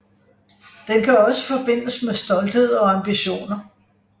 Den kan også forbindes med stolthed og ambitioner